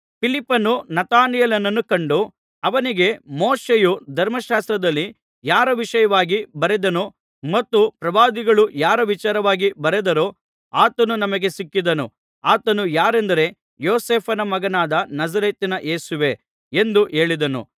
ಫಿಲಿಪ್ಪನು ನತಾನಯೇಲನನ್ನು ಕಂಡು ಅವನಿಗೆ ಮೋಶೆಯು ಧರ್ಮಶಾಸ್ತ್ರದಲ್ಲಿ ಯಾರ ವಿಷಯವಾಗಿ ಬರೆದನೋ ಮತ್ತು ಪ್ರವಾದಿಗಳು ಯಾರ ವಿಚಾರವಾಗಿ ಬರೆದರೋ ಆತನು ನಮಗೆ ಸಿಕ್ಕಿದನು ಆತನು ಯಾರೆಂದರೆ ಯೋಸೇಫನ ಮಗನಾದ ನಜರೇತಿನ ಯೇಸುವೇ ಎಂದು ಹೇಳಿದನು